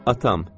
Atam!